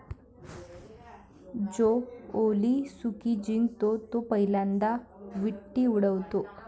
जो ओलीसुकी जिंकतो तो पहिल्यांदा विट्टी उडवतो.